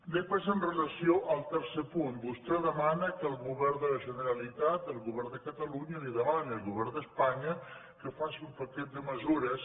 després amb relació al tercer punt vostè demana que el govern de la generalitat el govern de catalunya li demani al govern d’espanya que faci un paquet de mesures